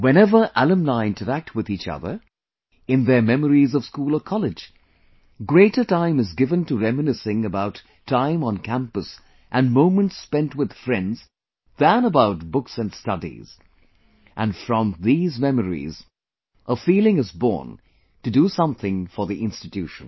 Whenever alumni interact with each other, in their memories of school or college, greater time is given to reminiscing about time on campus and moments spent with friends than about books and studies, and, from these memories, a feeling is bornto do something for the institution